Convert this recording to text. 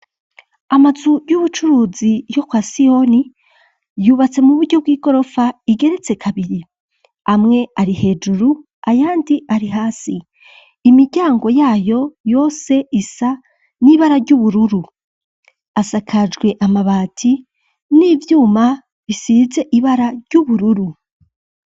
Amazu y'ubucuruzi, yo kwa siyoni, yubatse mu buryo, bw'igorofa, igeretse kabiri; amwe ari hejuru, ayandi ari hasi; imiryango yayo yose, isa n'ibara ry'ubururu; asakajwe amabati, n'ivyuma, bisize ibara, ry'ubururu.